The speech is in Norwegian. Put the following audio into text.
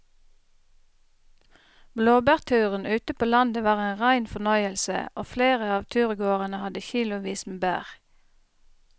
Blåbærturen ute på landet var en rein fornøyelse og flere av turgåerene hadde kilosvis med bær.